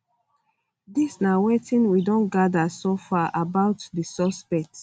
dis na wetin we don gather so far about di suspect